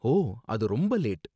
ஓ அது ரொம்ப லேட்.